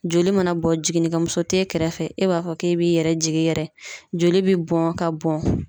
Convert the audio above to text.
Joli mana bɔ jiginnikɛmuso t'e kɛrɛfɛ e b'a fɔ k'e b'i yɛrɛ jigin yɛrɛ joli bɛ bɔn ka bɔn.